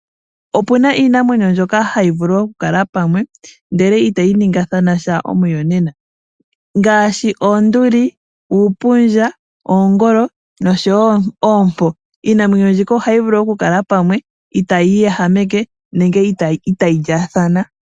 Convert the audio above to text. Opu na iinamwenyo mbyoka hayi vulu okukala pamwe, ndele itayi ningilathana omuyonena ngaashi oonduli, uupundja, oongolo, nosho wo oompo. Iinamwenyo mbika ohayi vulu okukala pamwe ita yi iyehameke nenge itayi lyaathana.